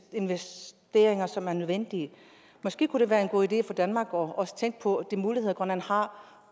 investeringer som er nødvendige måske kunne det være en god idé for danmark også at tænke på de muligheder grønland har